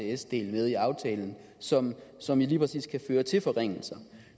isds del med i aftalen som som jo lige præcis kan føre til forringelser